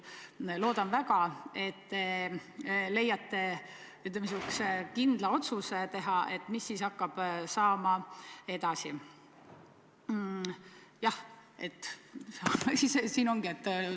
Loodan väga, et te teete kindla otsuse, mis hakkab edasi saama.